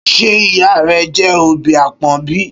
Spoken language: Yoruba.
Ṣé ìyá rẹ jẹ́ òbí àpọ́n bí?